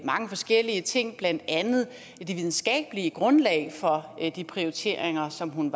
mange forskellige ting blandt andet det videnskabelige grundlag for de prioriteringer som hun